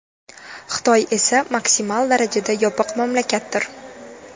Xitoy esa maksimal darajada yopiq mamlakatdir.